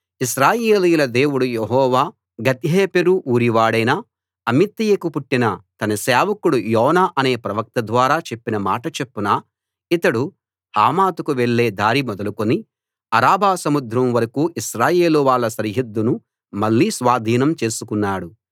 ఇశ్రాయేలీయుల దేవుడు యెహోవా గత్హేపెరు ఊరివాడైన అమిత్తయికి పుట్టిన తన సేవకుడు యోనా అనే ప్రవక్త ద్వారా చెప్పిన మాట చొప్పున ఇతడు హమాతుకు వెళ్ళే దారి మొదలుకుని అరాబా సముద్రం వరకూ ఇశ్రాయేలువాళ్ళ సరిహద్దును మళ్ళీ స్వాధీనం చేసుకున్నాడు